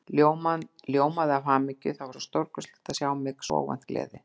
Ljómaði af hamingju, það var svo stórkostlegt að sjá mig, svo óvænt gleði.